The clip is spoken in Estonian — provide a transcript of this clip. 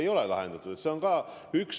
Ei ole lahendatud!